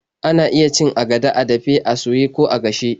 Ana iya cin agada a dafe, a soye, ko a gashe.